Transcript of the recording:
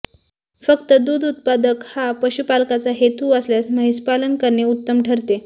फक्त दूध उत्पादन हा पशुपालकाचा हेतू असल्यास म्हैसपालन करणे उत्तम ठरते